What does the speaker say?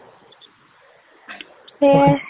সেইয়াই